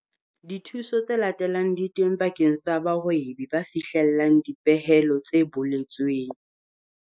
Dithuso tse latelang di teng bakeng sa bahwebi ba fihlellang dipehelo tse boletsweng.